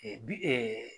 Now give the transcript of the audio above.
bi